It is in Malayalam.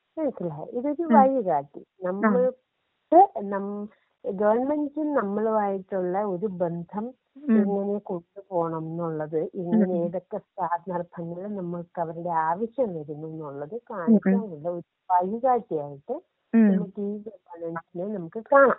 മനസ്സിലായോ ഇതൊരു വഴി കാട്ടി *നോട്ട്‌ ക്ലിയർ* നമ്മള് ഗവൺമെന്റ്സിന് നമ്മളുമായിട്ടുള്ള ഒരു ബന്ധം എങ്ങനെ കൊണ്ട്പോണംന്നുള്ളത് *നോട്ട്‌ ക്ലിയർ* നമുക്ക് അവരുടെ ആവശ്യം വരുന്നുള്ളു എന്നത് കാണിക്കുന്നു ഒരു വഴികാട്ടിയായിട്ട് നമുക്ക് ഇഗവേണന്‍സിനെ നമുക്ക് കാണാം.